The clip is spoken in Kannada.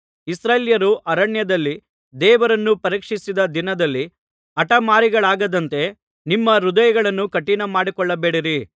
ಇಸ್ರಾಯೇಲ್ಯರು ಅರಣ್ಯದಲ್ಲಿ ದೇವರನ್ನು ಪರೀಕ್ಷಿಸಿದ ದಿನದಲ್ಲಿ ಹಠಮಾರಿಗಳಾದಂತೆ ನಿಮ್ಮ ಹೃದಯಗಳನ್ನು ಕಠಿಣಮಾಡಿಕೊಳ್ಳಬೇಡಿರಿ